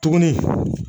Tuguni